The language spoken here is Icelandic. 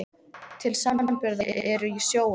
Til samanburðar eru í sjó um